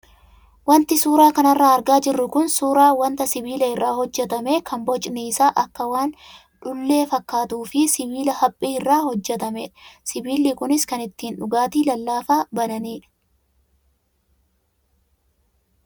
Wanti suuraa kanarraa argaa jirru kun suuraa wanta sibiila irraa hojjatame kan bocni isa akka waan dhullee fakkaatuu fi sibiila haphii irraa hojjatamedha. Sibiilli kunis kan ittiin dhugaatii lallaafaa bananidha.